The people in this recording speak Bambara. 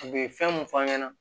U bɛ fɛn mun f'an ɲɛna